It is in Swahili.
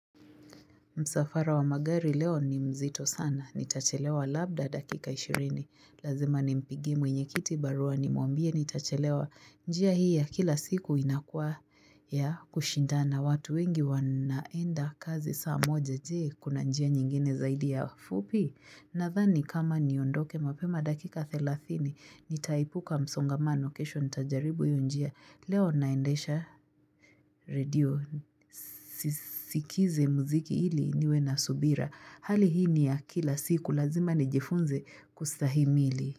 Msafara wa magari leo ni mzito sana. Nitachelewa labda dakika 20. Lazima nimpigie mwenye kiti barua nimwambie nitachelewa. Njia hii ya kila siku inakua ya kushindana. Watu wengi wanaenda kazi saa moja je. Kuna njia nyingine zaidi ya ufupi. Nathani kama niondoke mapema dakika 30 nitaepuka msongamano kesho nitajaribu iyo njia leo naendesha radio sikize muziki ili niwe na subira hali hii ni ya kila siku lazima nijifunze kustahimili.